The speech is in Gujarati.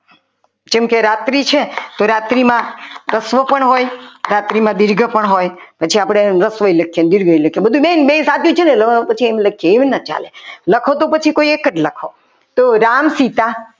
જેમ કે રાત્રિ છે તો રાત્રી મા રસ્વ પણ હોય રાત્રિમાં દીર્ઘ પણ હોય પછી આપણે એને રસ્વ લખીએ દીર્ઘઈ લખીએ બધું બેન બધું સાચું જ છે ને એમ લખીએ એમ ના ચાલે લખો તો પછી કોઈ એક જ લખો તો રામચિતા